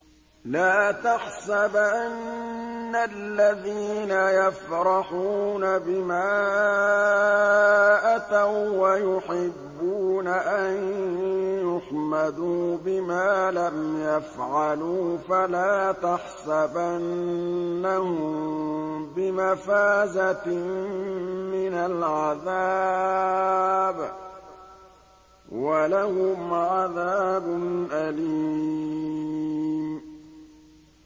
لَا تَحْسَبَنَّ الَّذِينَ يَفْرَحُونَ بِمَا أَتَوا وَّيُحِبُّونَ أَن يُحْمَدُوا بِمَا لَمْ يَفْعَلُوا فَلَا تَحْسَبَنَّهُم بِمَفَازَةٍ مِّنَ الْعَذَابِ ۖ وَلَهُمْ عَذَابٌ أَلِيمٌ